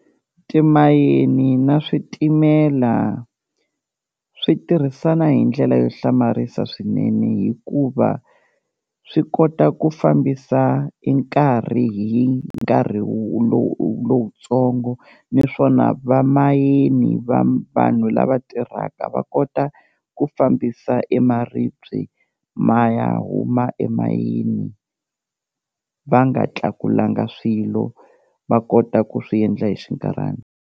Timayini na switimela swi tirhisana hi ndlela yo hlamarisa swinene hikuva swi kota ku fambisa e nkarhi hi nkarhi lowutsongo, niswona vamayini va vanhu lava tirhaka va kota ku fambisa e maribye ma ya huma emayini va nga tlakulanga swilo va kota ku swi endla hi xinkarhana.